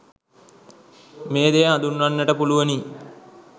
මේ දෙය හඳුන්වන්නට පුළුවනි.